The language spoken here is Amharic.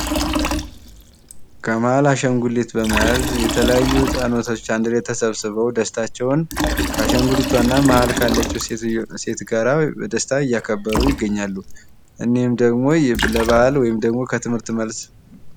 ከማሃል አሻንጉሊት በመያዝ የተለያዩ ህጻናቶች አንድ ላይ ተሰብስበው ደስታቸውን ከአሻንጉሊቷ እና መሃል ካለችው ሴትዮ ጋር በደስታ እያከበሩ ይገኛሉ። እንህም ደግሞ ለበዓል ወይም ደግሞ ከትምህርት መልስ